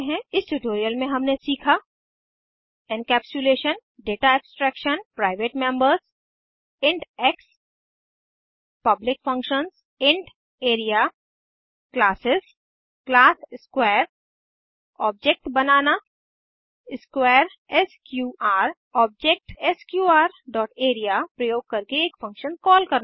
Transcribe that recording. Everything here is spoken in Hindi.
इस ट्यूटोरियल में हमने सीखा encapsulation data abstraction private members int x public functions int area classes class square object बनाना square S Q R object S Q R dot area प्रयोग करके एक फंक्शन कॉल करना